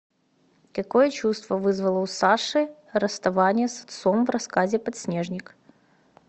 какое чувство вызвало у саши расставание с отцом в рассказе подснежник